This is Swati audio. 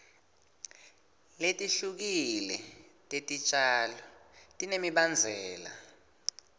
letihlukile tetitjalo tinemibandzela